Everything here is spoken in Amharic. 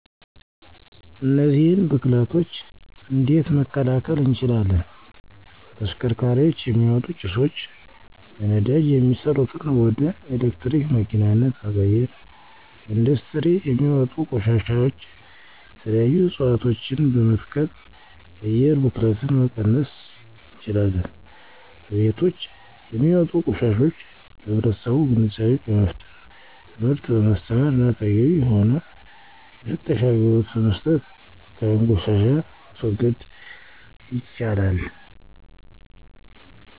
እነዚህን ብክለቶች እንዴት መከላከል እንችላለን 1. ከተሽከርካሪዎች የሚወጡ ጭሶች፦ በነዳጅ የሚሠሩትን ወደ የኤሌክትሪክ መኪናነት መቀየር። 2. ከኢንዱስትሪ የሚወጡ ቆሻሾች፦ የተለያዩ እፅዋቶችን በመትከል የአየር ብክለትን መቀነስ እንችላለን። 3. ከቤቶች የሚወጡ ቆሻሾች፦ ለህብረተሰቡ ግንዛቤ በመስጠት፣ ትምህርት በማስተማር እና ተገቢ የሆነ የፍሳሽ አገልግሎት በመስራት የአካባቢውን ቆሻሻ ማስወገድ ይቻላን።